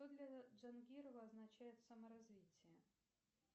что для джангирова означает саморазвитие